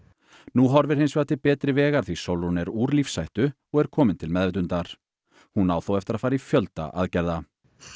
nú horfir hins vegar til betri vegar því Sólrún er úr lífshættu og er komin til meðvitundar hún á þó eftir að fara í fjölda aðgerða